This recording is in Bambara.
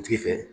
Tigi fɛ